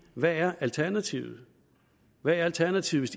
hvad er alternativet hvad er alternativet